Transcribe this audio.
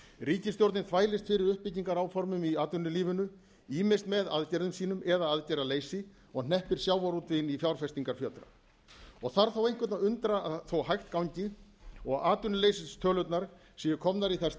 ríkisstjórnin þvælist fyrir uppbyggingaráformum í atvinnulífinu ýmist með aðgerðum sínum eða aðgerðaleysi á hneppir sjávarútveginn í fjárfestingarfjötra þarf einhvern að undra þó hægt gangi og atvinnuleysistölurnar séu komnar í þær stærðir að